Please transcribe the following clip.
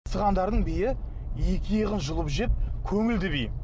сығандардың биі екі иығын жұлып жеп көңілді би